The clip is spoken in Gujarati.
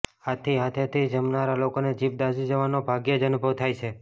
આથી હાથેથી જમનારા લોકોને જીભ દાઝી જવાનો ભાગ્યેજ અનુભવ થાય છે